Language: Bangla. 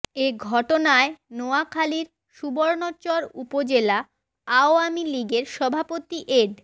এ ঘটনায় নোয়াখালীর সুবর্ণচর উপজেলা আওয়ামী লীগের সভাপতি এড